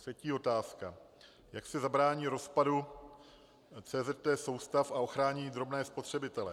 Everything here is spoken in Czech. Třetí otázka: Jak se zabrání rozpadu CZT soustav a ochrání drobní spotřebitelé?